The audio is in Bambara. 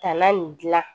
Tanna nin gilan